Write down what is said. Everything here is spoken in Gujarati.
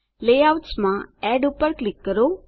લેઆઉટ્સ માં એડ ક્લિક કરો